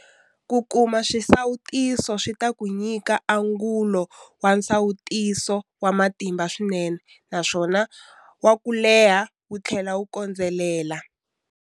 Ku kuma xisawutiso swi ta ku nyika angulo wa nsawutiso wa matimba swinene na ku va wo leha wu tlhela wu kondzelela.